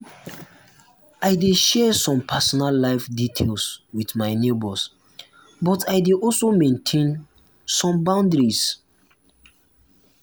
i dey share some personal life details with my neighbors but i dey also maintain um some boundaries.